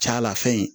Calafɛn in